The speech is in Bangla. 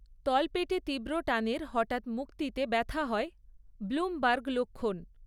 তলপেটে তীব্র টানের হঠাৎ মুক্তিতে ব্যথা হয়, ব্লুমবার্গ লক্ষণ।